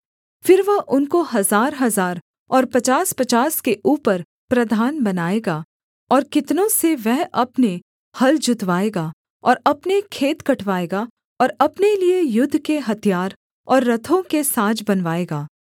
फिर वह उनको हजारहजार और पचासपचास के ऊपर प्रधान बनाएगा और कितनों से वह अपने हल जुतवाएगा और अपने खेत कटवाएगा और अपने लिये युद्ध के हथियार और रथों के साज बनवाएगा